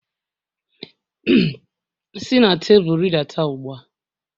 Si na tebụl rịdata ugbu a!